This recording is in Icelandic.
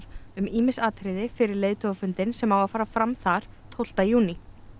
um ýmis atriði fyrir leiðtogafundinn sem á að fara fram þar tólf júní